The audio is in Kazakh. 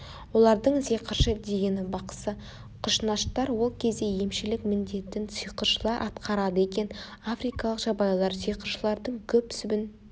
олардың сиқыршы дегені бақсы құшнаштар ол кезде емшілік міндетін сиқыршылар атқарады екен африкалық жабайылар сиқыршылардың күп-сүбін